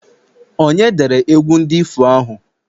onye dere egwu ndi ifo ahụ?